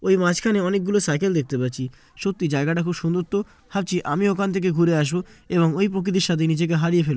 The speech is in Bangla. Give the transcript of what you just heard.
ওই মাঝখানে আমি অনেকগুলো সাইকেল দেখতে পাচ্ছি সত্যি জায়গাটা খুব সুন্দর তো ভাবছি আমি ওখান থেকে ঘুরে আসবো এবং ওই প্রকৃতির সাথে নিজেকে হারিয়ে ফেলবো।